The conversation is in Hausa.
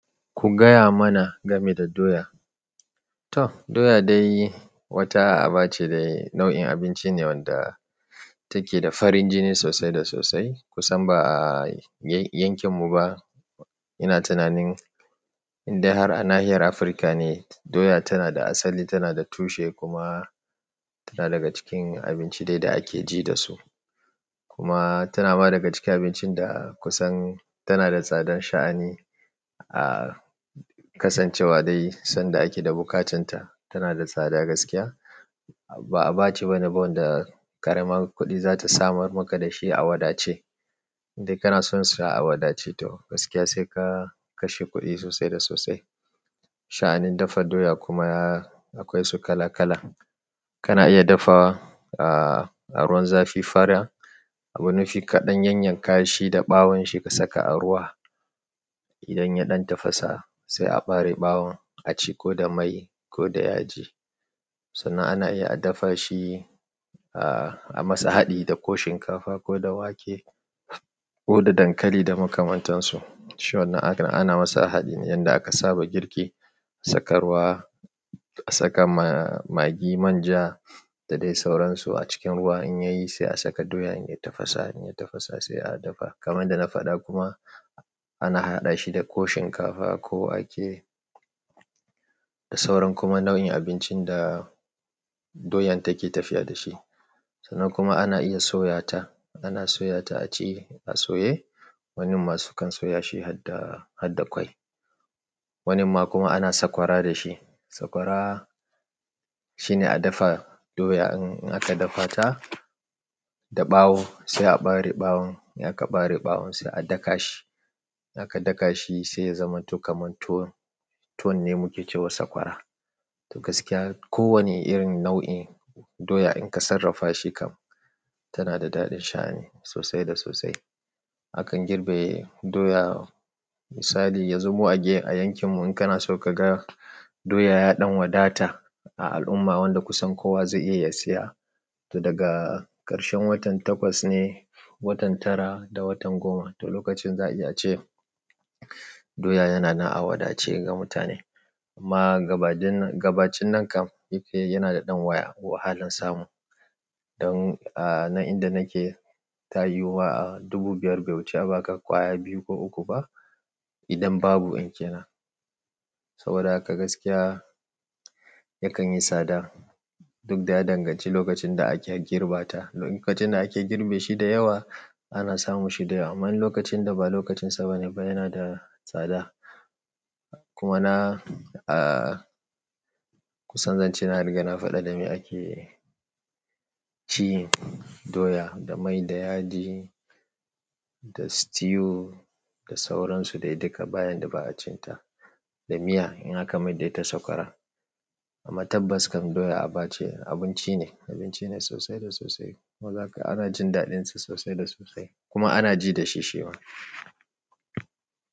Ku gaya mana game da doya. To doya dai wata aba ce dai nau'in abinci ne wanda take da farin jini sosai da sosai. Kusan ba a yankin mu ba ina tunanin indai har a nahiyar Afirka ne doya tana da asali, tana da tushe kuma tana daga cikin abinci dai da ake ji da su. Kuma tana ma daga cikin abincin da kusan tana da tsadar sha'ani a kasancewa dai sanda ake da buƙacinta. Tana da tsada gaskiya. Ba, a ba ce bane ba wanda ƙaramar kuɗi za ta samar maka da shi a wadace. Dai kana son sa a wadace toh gaskiya sai ka kashe kuɗi sosai da sosai. Sha'anin dafa doya kuma akwai su kala kala. Kana iya dafa a ruwan zafi fara. Abu nufi kaɗan yanyan kashi da ɓawon shi ka saka a ruwa. Idan ya ɗan tafasa sai a ɓare ɓawon a ci ko da mai ko da yaji. Sannan ana iya a dafa shi a masa haɗi da ko shinkafa ko da wake ko da dankali da makamantansu. Shi wan na aka, ana masa haɗi ne yanda aka saba girki. Saka ruwa, a saka ma magi, manja da dai sauransu a cikin ruwa. In yayi sai a saka doya in ya tafasa. In ya tafasa sai a dafa kamar da na faɗa kuma ana haɗa shi da ko shinkafa ko wake da sauran kuma nau'in abincin da doyan take tafiya da shi. Sannan kuma ana iya soya ta. Ana soya ta a ci a soye. Wani masu kan soya shi har da, har da ƙwai. Wani ma kuma ana sakwara da shi. Sakwara shine a dafa doya in aka dafa ta da ɓawo sai a ɓare ɓawon. In aka ɓare ɓawon sai a daka shi. In aka daka shi sai ya zama tuƙa man tuwon. Tuwon ne muke cewa sakwara. To gaskiya kowane irin nau'in doya in ka sarrafa shi kam tana da daɗin sha'ani sosai da sosai. Akan girbe doya misali ya zumu a ge a yankin mu in kana so ka ga doya ya ɗan wadata a al'umma wanda kusan kowa zai iya ya siya. To daga ƙarshen watan takwas ne, watan tara da watan goma. To lokacin za'i ya ace doya yana na a wadace ga mutane. Amma gabadin, gabacin nan kam yake yana da ɗan waya wahalan samu. Don a nan inda nake ta yiwu wa a dubu biyar bai wuce ba ka ƙwaya biyu ko uku ba idan babu in ke nan. Saboda haka gaskiya yakan yi tsada duk da ya danganci lokacin da ake girbata. Lokacin da ake girbe shi da yawa ana samu shi da yawa. Ama in lokacin da ba lokacin sa ba ne ba yana da tsada. Kuma na a kusan zan ce na riga na faɗa da me ake ci doya. Da mai da yaji da stew da sauran su dai duka bayadda dai ba acinta daminya in aka mai da ita sakwara amma tabbas kam doya abace abincine abunci sosai da sosai kuma zaka ga ana jin daɗin sa sosai da sosai kuma ana ji da shi shima.